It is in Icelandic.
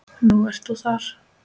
Nú ert þú þar.